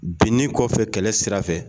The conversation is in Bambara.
Binni kɔfɛ kɛlɛ sira fɛ